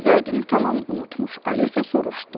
Vədini tamam unutmuş Alisa soruşdu.